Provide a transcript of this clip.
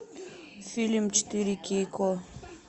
фильм четыре кей ко